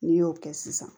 N'i y'o kɛ sisan